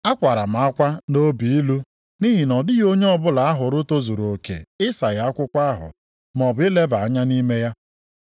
Akwara m akwa nʼobi ilu nʼihi na ọ dịghị onye ọbụla a hụrụ tozuru oke ịsaghe akwụkwọ ahụ maọbụ ileba anya nʼime ya.